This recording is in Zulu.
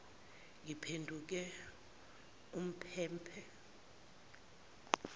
ngiphenduke umphe mphe